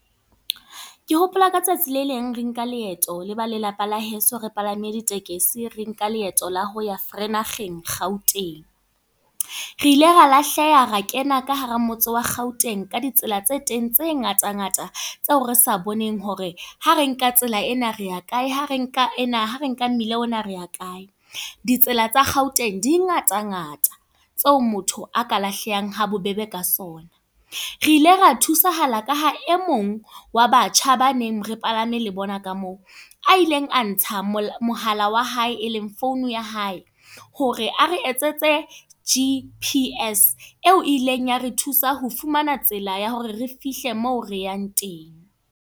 Ke hopola ka tsatsi le leng re nka leeto leba lelapa la heso. Re palame ditekesi, re nka leeto la ho ya Vereeniging, Gauteng. Re ile ra lahleha ra kena ka hara motse wa Gauteng, ka ditsela tse teng tse ngata ngata. Tseo re sa boneng hore ha re nka tsela ena re a kae, ha re nka ena ha re nka mmela ona re a kae. Ditsela tsa Gauteng di ngata ngata. Tseo motho a ka lahlehang habobebe ka sona. Re ile ra thusahala ka ha e mong, wa batjha ba neng re palame le bona ka moo. A ileng a ntsa mohala wa hae e leng founu ya hae, hore a re etsetse G_P_S eo ileng ya re thusa ho fumana tsela ya hore re fihle moo re yang teng.